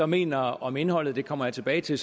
mener om indholdet det kommer jeg tilbage til